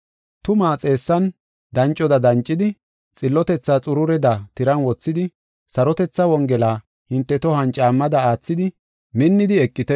Tumaa xeessan dancoda dancidi, xillotethaa xurureda tiran wothidi, sarotethaa Wongela hinte tohuwan caammada aathidi minnidi eqite.